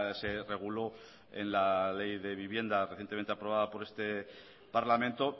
se reguló en la ley de vivienda recientemente aprobada por este parlamento